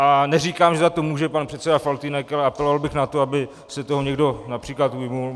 A neříkám, že za to může pan předseda Faltýnek, ale apeloval bych na to, aby se toho někdo například ujmul.